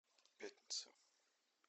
пятница